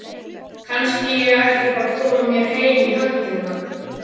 Kannski ég ætti bara að koma mér heim í höllina.